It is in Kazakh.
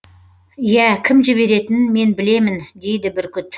ия кім жіберетінін мен білемін дейді бүркіт